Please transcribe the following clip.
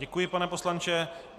Děkuji, pane poslanče.